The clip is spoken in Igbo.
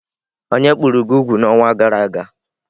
Onye kpụrụ gị úgwù n'ọnwa gara aga?